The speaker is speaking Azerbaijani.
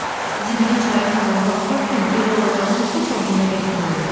Zibili çayın kənarına atarkən belə olacağını heç ağlına gətirmirdi.